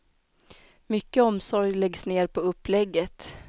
Mycket omsorg läggs ned på upplägget.